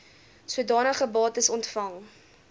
sodanige bates ontvang